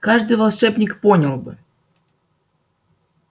каждый волшебник понял бы